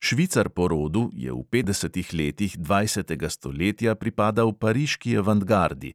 Švicar po rodu je v petdesetih letih dvajsetega stoletja pripadal pariški avantgardi,